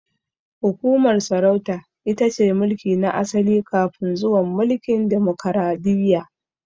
Hukumar sarauta itace mulki na asali kafin zuwan mulkin demokaradiyya